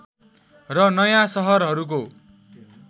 र नयाँ सहरहरूको